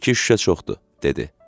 İki şüşə çoxdur, dedi.